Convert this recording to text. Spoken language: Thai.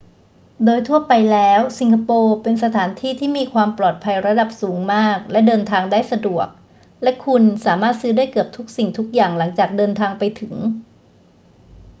โดยทั่วไปแล้ว สิงคโปร์เป็นสถานที่ที่มีความปลอดภัยระดับสูงมากและเดินทางได้สะดวก และคุณสามารถซื้อได้เกือบทุกสิ่งทุกอย่างหลังจากเดินทางไปถึง